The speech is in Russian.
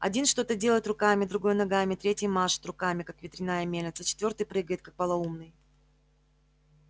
один что-то делает руками другой ногами третий машет руками как ветряная мельница четвёртый прыгает как полоумный